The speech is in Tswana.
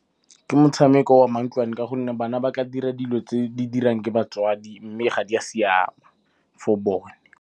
Ke motshameko wa mantlwane, ka gonne bana ba tla dira dilo tse di diriwang ke batswadi mme ga di a siama for bone.